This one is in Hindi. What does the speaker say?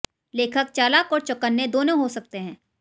लेखक चालाक और चौकन्ने दोनों हो सकते हैं